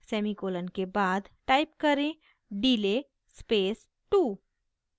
semicolon के बाद type करें delay space 2